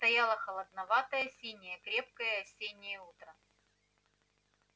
стояло холодноватое синее крепкое осеннее утро